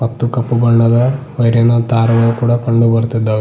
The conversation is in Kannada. ಮತ್ತು ಕಪ್ಪು ಬಣ್ಣದ ವೈರಿ ನ ದಾರವು ಕಂಡುಬರ್ತದ --